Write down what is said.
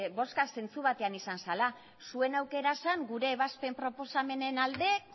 bozka zentzu batean izan zela zuen aukera zen gure ebazpen proposamenen alde